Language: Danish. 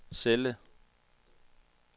celle